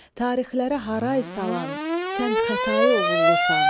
Tarixlərə haray salan sən Xətai oğullusan.